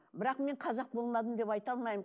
бірақ мен қазақ болмадым деп айта алмаймын